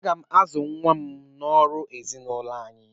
Aga m azụ nwa m n'ọrụ ezinaụlọ anyị